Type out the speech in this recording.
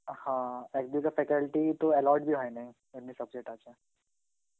হা, এক দুটা faculty তো allot Hindi হয় নাই, এমনি subject আছে.